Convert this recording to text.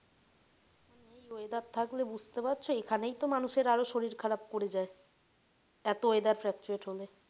এই weather থাকলে বুঝতে পারছ এখানেই তো মানুষের আরও শরীর খারাপ করে যায়। এতো weather fluctuate হলে।